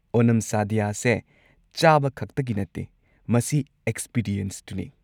ꯑꯣꯅꯝ ꯁꯥꯗ꯭ꯌ ꯑꯁꯦ ꯆꯥꯕ ꯈꯛꯇꯒꯤ ꯅꯠꯇꯦ, ꯃꯁꯤ ꯑꯦꯛꯁꯄꯤꯔꯤꯑꯦꯟꯁꯇꯨꯅꯤ꯫